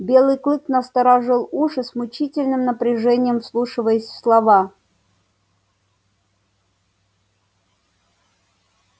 белый клык насторожил уши с мучительным напряжением вслушиваясь в слова